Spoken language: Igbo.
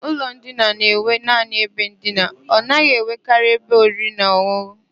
Ụlọ ndina na-enwe naanị ebe ndina, ọ naghị enwekarị ebe oriri na ọn̄ụn̄ụ.